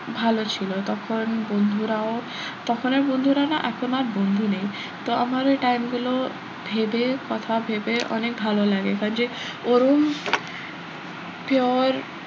ভালো ছিল তখন বন্ধুরাও তখন এর বন্ধুরা না এখন আর বন্ধু নেই তো আমার ওই time গুলো ভেবে কথা ভেবে অনেক ভালো লাগে কারন যে ওরম pure